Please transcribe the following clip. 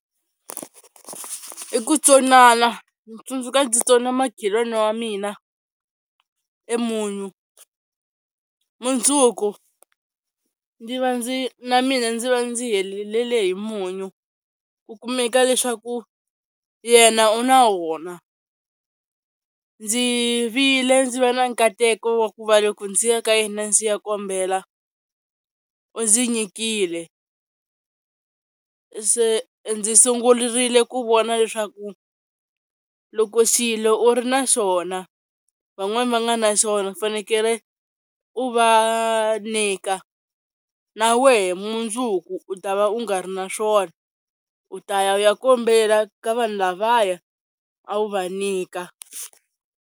I ku tsonana, ndzi tsundzuka ndzi tsona makhelwani wa mina e munyu, mundzuku ndzi va ndzi na mina ndzi va ndzi helelele hi munyu ku kumeka leswaku yena u na wona, ndzi vile ndzi va na nkateko wa ku va loko ndzi ya ka yena ndzi ya kombela u ndzi nyikile, se ndzi sungurile ku vona leswaku loko xilo u ri na xona van'wani va nga na xona u fanekele u va ku nyika, na wehe mundzuku u ta va u nga ri na swona u ta ya u ya kombela ka vanhu lavaya a wu va nyika.